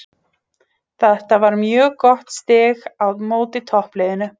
Þetta var mjög gott stig á móti toppliðinu.